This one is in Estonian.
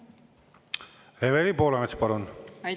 Evelin Poolamets, palun!